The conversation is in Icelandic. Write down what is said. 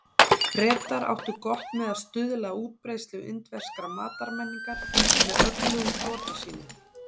Bretar áttu gott með að stuðla að útbreiðslu indverskrar matarmenningar með öflugum flota sínum.